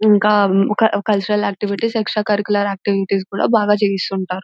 ఇంకా ఒక cultural activities extra cultural activities కూడా బాగా చేయిస్తూ ఉంటారు.